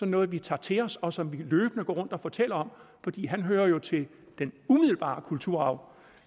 noget vi tager til os og som vi løbende går rundt og fortæller om fordi han hører jo til den umiddelbare kulturarv